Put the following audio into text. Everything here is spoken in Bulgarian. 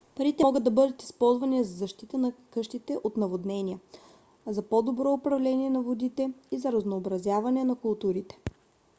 парите могат да бъдат използвани за защита на къщите от наводнения за по-добро управление на водите и за разнообразяване на културите